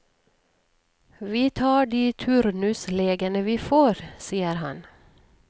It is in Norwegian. Vi tar de turnuslegene vi får, sier han.